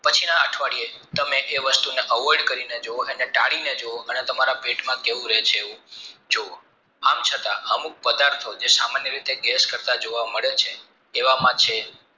પછીના અઠવાડિયે તમે એ વસ્તુને avoid કરીને ટાળીને જુઓ કે તામર પેટમાં કેવું રહે છે એવું જુઓ આમ છતાં અમુક પદાર્થો સામાન્ય રીતે ગેસ કરતા જોવા મળે છે એવામાં છે